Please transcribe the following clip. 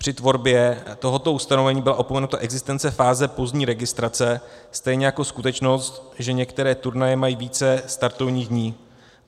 Při tvorbě tohoto ustanovení byla opomenuta existence fáze pozdní registrace, stejně jako skutečnost, že některé turnaje mají více startovních dní.